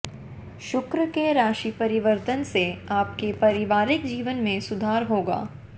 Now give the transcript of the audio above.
शुक्र के राशि परिवर्तन से आपके पारिवारिक जीवन में सुधार होगा